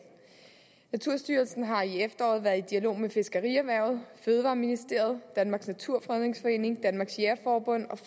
naturstyrelsen har i efteråret været i dialog med fiskerierhvervet fødevareministeriet danmarks naturfredningsforening danmarks jægerforbund og